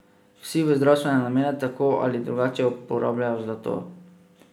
Vsi v zdravstvene namene tako ali drugače uporabljajo zlato.